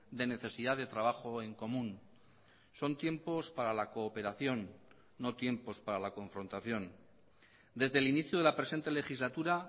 de necesidad de trabajo en común son tiempos para la cooperación no tiempos para la confrontación desde el inicio de la presente legislatura